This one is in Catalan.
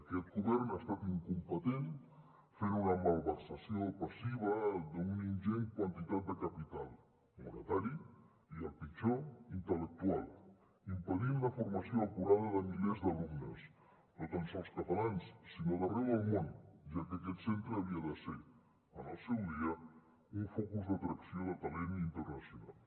aquest govern ha estat incompetent ha fet una malversació passiva d’una ingent quantitat de capital monetari i el pitjor intel·lectual i ha impedit la formació acurada de milers d’alumnes no tan sols catalans sinó d’arreu del món ja que aquest centre havia de ser en el seu dia un focus d’atracció de talent internacional